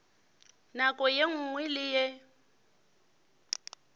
nako ye nngwe le ye